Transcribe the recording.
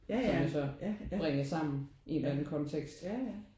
Som man jo så bringer sammen i en eller anden kontekst